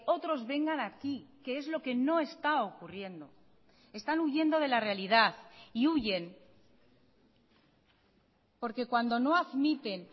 otros vengan aquí que es lo que no está ocurriendo están huyendo de la realidad y huyen porque cuando no admiten